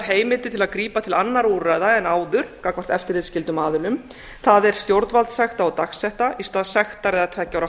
heimildir til að grípa til annarra úrræða en áður gagnvart eftirlitsskyldum aðilum það er stjórnvaldssekta og dagsekta í stað sektar eða tveggja ára